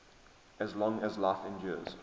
as long as life endures